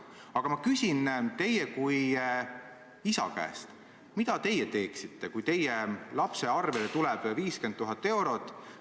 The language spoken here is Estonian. Aga ma küsin teie kui isa käest, mida teie teeksite, kui teie lapse arvelduskontole tuleks 50 000 eurot.